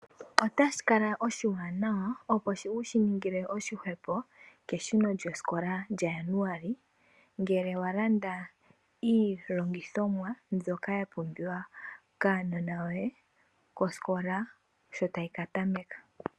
Otashi kala oshiwana wa opo wu shi ningile oshihwepo keshuno lyosikola lyaJanuali, ngele walanda iihongithomwa mbyoka yapumbiwa kuunona woye sho osikola ta yi katameka.